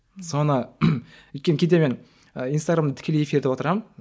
соны өйткені кейде мен инстаграмда тікелей эфирде отырамын